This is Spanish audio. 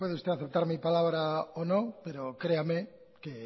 bueno puede usted aceptar mi palabra o no pero créame que